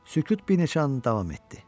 Sükut bir neçə an davam etdi.